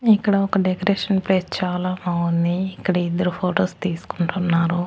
ఇక్కడ ఒక decoration place చాలా బావుంది ఇక్కడ ఇద్దరు ఫొటోస్ తీసుకుంటున్నారు.